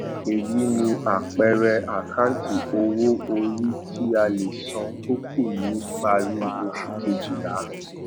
èyí ni àpẹẹrẹ àkáǹtì owó orí tí a lè san tó kù ni parí oṣù kejìlá